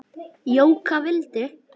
Jóka vildi.